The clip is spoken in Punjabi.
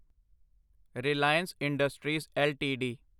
Reliance Industries LTD